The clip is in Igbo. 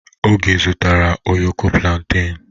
Oge zụtara ụyọkọ plantain?